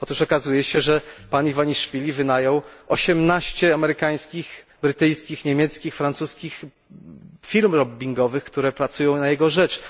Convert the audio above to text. Otóż okazuje się, że pan Iwaniszwili wynajął 18 amerykańskich, brytyjskich, niemieckich, francuskich firm lobbingowych, które pracują na jego rzecz.